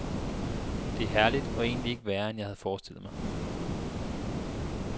Det er herligt og egentlig ikke værre, end jeg havde forestillet mig.